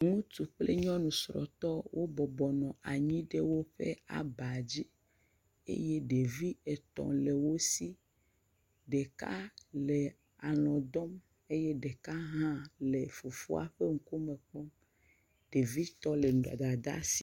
Ŋutsu ple nyɔnu srɔ̃tɔ wo bɔbɔ nɔ anyi ɖe woƒe abadzi. Eye ɖevi etɔ̃ le wo si. Ɖeka le alɔ̃ dɔm eye ɖeka le fofoa ƒe ŋkume kpɔm. ɖevitɔ le Dadaa si.